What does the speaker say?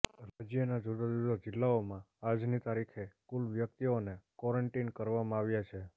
રાજ્યના જુદા જુદા જિલ્લાઓમાં આજની તારીખે કુલ વ્યક્તિઓને ક્વોરન્ટીન કરવામાં આવ્યાં છે